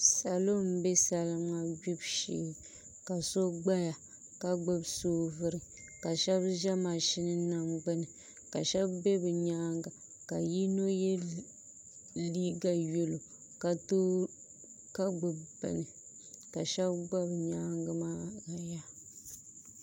Salo n bɛ salima gbibu shee ka so gbaya ka gbubi soobuli ka shab bɛ mashin nim gbuni ka shab bɛ bi nyaanga ka yino yɛ liiga yɛlo ka gbubi bini ka shab gba bi nyaangi maa